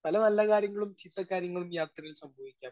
Speaker 1 പല നല്ല കാര്യങ്ങളും ചീത്തകാര്യങ്ങളും യാത്രയിൽ സംഭവിക്കാം.